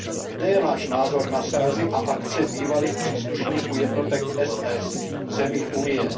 Kde je náš názor na srazy a akce bývalých příslušníků jednotek SS v zemích Unie?